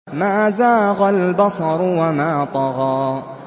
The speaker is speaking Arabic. مَا زَاغَ الْبَصَرُ وَمَا طَغَىٰ